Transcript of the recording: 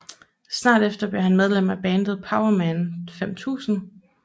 Snart efter blev han medlem af bandet Powerman 5000